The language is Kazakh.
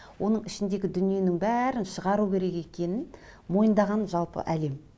оның ішіндегі дүниенің бәрін шығару керек екенін мойындаған жалпы әлем